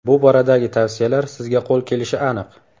Bu boradagi tavsiyalar sizga qo‘l kelishi aniq.